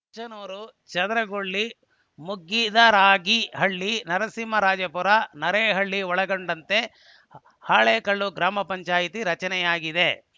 ಮುಚ್ಚನೂರು ಚದರಗೊಳ್ಳ ಮುಗ್ಗಿದರಾಗಿಹಳ್ಳಿ ನರಸಿಂಹರಾಜಪುರ ನರೇನಹಳ್ಳಿ ಒಳಗೊಂಡಂತೆ ಹಾಲೇಕಲ್ಲು ಗ್ರಾಮ ಪಂಚಾಯಿತಿ ರಚನೆಯಾಗಿದೆ